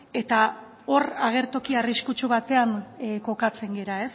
eta hor agertoki arriskutsu batean kokatzen gara